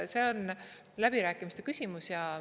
See on läbirääkimiste küsimus.